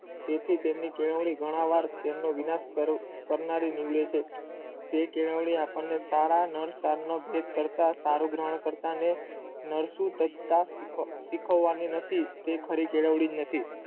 તેથી તેમને કેવાની ઘણી વાર વિનાશ કરે કરનારી જે કેવાની આપણે કરતા કાયર્ક્રમો મરસુ કરતા શીખો આમ ની તે કેળવણી નથી